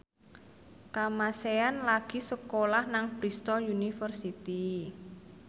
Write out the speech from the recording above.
Kamasean lagi sekolah nang Bristol university